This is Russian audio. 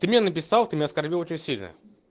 ты мне написал ты меня оскорбил очень сильно